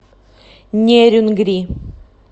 нерюнгри